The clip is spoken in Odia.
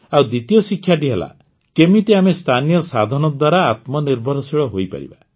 ଆଉ ଦ୍ୱିତୀୟ ଶିକ୍ଷାଟି ହେଲାକେମିତି ଆମେ ସ୍ଥାନୀୟ ସାଧନ ଦ୍ୱାରା ଆତ୍ମନିର୍ଭରଶୀଳ ହୋଇପାରିବା